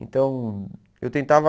Então, eu tentava...